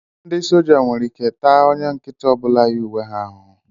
Ndị sójá nwere ike taa onye nkịtị ọ bụla yi uwe ha ahụhụ